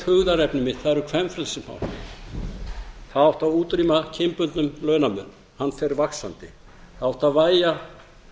hugðarefni mitt það eru kvenfrelsismálin það átti að útrýma kynbundnum launamun hann fer vaxandi það átti að